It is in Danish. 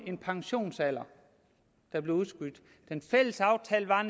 en pensionsalder der blev udskudt den fælles aftale var